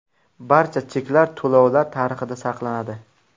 Barcha cheklar to‘lovlar tarixida saqlanadi.